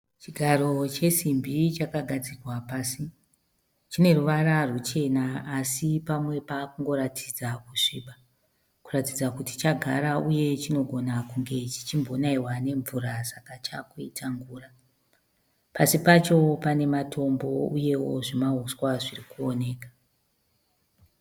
Chigaro chesimbi chakagadzikwa pasi chine ruvara ruchena asi pamwe pakungoratidza kusviba . Kuratidza kuti chagara uye chinogona kunge chichimbonaiwa nemvura saka chakuita ngura. Pasi pacho pane matombo uyewo zvimahuswa zvirukuoneka .